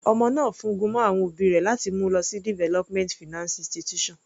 Ọmọ náà fún gun mọ́ àwọn òbí rẹ̀ láti mú u lọ sí development finance institution.